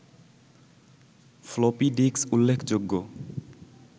floppy disk উল্লেখযোগ্য